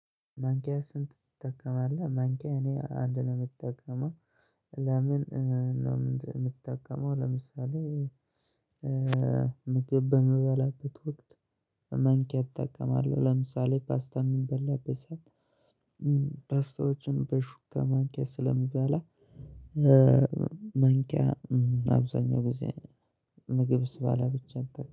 ማንኪያ ስንት ትጠቀማለህ? ማንኪያ እኔ አንድ ነው የምጠቀመው ለምን ነው የምትጠቀመው። ለምሳሌ ምግብ በምበላበት ወቅት መንኪያ እጠቀማለሁ። ለምሳሌ ፓስታ የምንበላበት ሰው ፓስታዎችን በሹካ ማንኪያ ስለሚባል ማንኪያ አብዛኛው ጊዜ ምግብ ስባል ብቻ እንጠቀ